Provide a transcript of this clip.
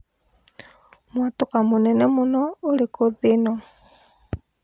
mwatũka mũnene mũno ũrikũ thĩ ĩno